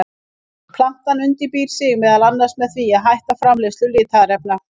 Plantan undirbýr sig meðal annars með því að hætta framleiðslu litarefna.